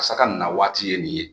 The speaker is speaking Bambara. Asa ka nawaati ye nin ye